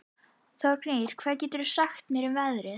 Þórgnýr, hvað geturðu sagt mér um veðrið?